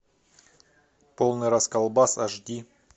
полный расколбас аш ди